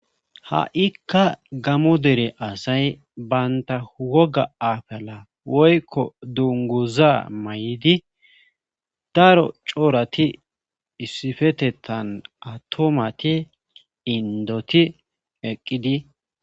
ha7ikka gamo dere asay baynta woga afala woykko dunguza may7idi daro coorati issifetettan atomati indoti eqqidi